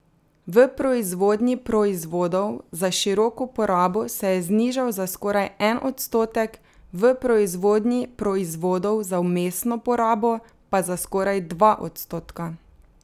V proizvodnji proizvodov za široko porabo se je znižal za skoraj en odstotek, v proizvodnji proizvodov za vmesno porabo pa za skoraj dva odstotka.